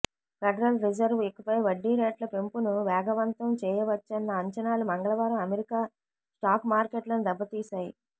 federal reserve ఇకపై వడ్డీ రేట్ల పెంపును వేగవంతం చేయవచ్చన్న అంచనాలు మంగళవారం అమెరికా స్టాక్ మార్కెట్లను దెబ్బతీశాయి